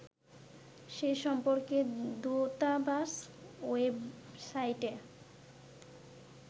সে সম্পর্কে দূতাবাস ওয়েবসাইটে